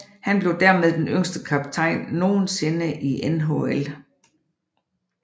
Han blev dermed den yngste kaptajn nogensinde i NHL